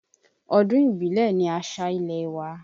Ọdún ìbílẹ̀ ní àṣà ilẹ̀ wa.